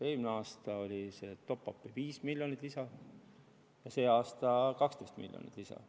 Eelmisel aastal oli top-up'i 5 miljonit lisaks ja sel aastal 12 miljonit lisaks.